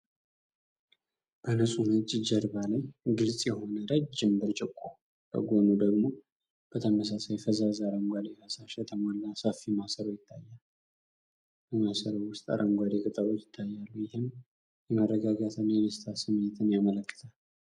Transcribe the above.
በንፁህ ነጭ ጀርባ ላይ ግልጽ የሆነ ረጅም ብርጭቆና በጎኑ ደግሞ፤ በተመሳሳይ ፈዛዛ አረንጓዴ ፈሳሽ የተሞላ ሰፊ ማሰሮ ይታያል። በማሰሮው ውስጥ አረንጓዴ ቅጠሎች ይታያሉ። ይህም የመረጋጋትና የደስታ ስሜትን ያመለክታል።